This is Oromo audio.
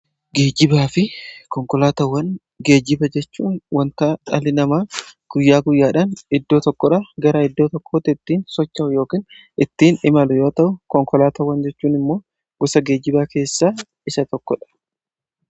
Geejjibaa fi konkolaatawwan geejjiba jechuun wanta xaarii namaa guyyaa guyyaadhaan iddoo tokkodha garaa iddoo tokkootti ittiin socha'u yookin ittiin imalu yoo ta'u konkolaataawwan jechuun immoo gosa geejjibaa keessaa isa tokkodha.